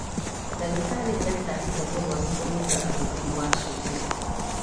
Ndagĩtarĩ nĩatarĩte mũrwaru kũnyihia ũhũthĩri wa cumbĩ